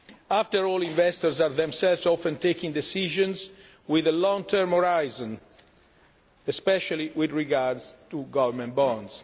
term. After all, investors are themselves often taking decisions with a long term horizon, especially with regard to government bonds.